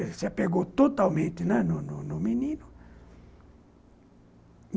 Ela se apegou totalmente né, no no menino.